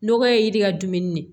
Nɔgɔ ye yiri ka dumuni de